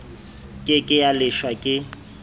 ke ke ya leshwa ke